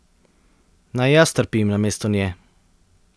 Naj jaz trpim namesto nje.